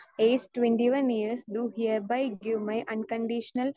speaker 2 age twenty one years do hereby give my un conditional